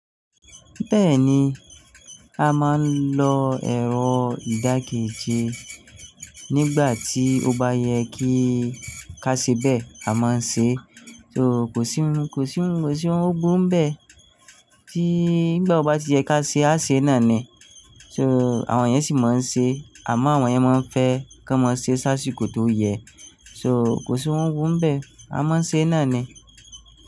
Bẹ́ẹ̀ni, a máa ń lo ẹ̀rọ ìdáké jẹ nígbà tí ó bá yẹ kí ká ṣe bẹ́ẹ̀, a máa ń ṣe e, so kò síhun, kò síhun, kò sí ohun o búru n bẹ́ẹ́ tí nígbà ó bá ti yẹ ká ṣe e, á ṣe náa ni. So àwọn yẹn sì máa ń ṣe e, àmọ́ àwọn yẹn máa ń fẹ́ kọ́n máa ṣe sásiko tó yẹ, so kò síhun búru n bẹ́ẹ́, a máa ń ṣe náa ni.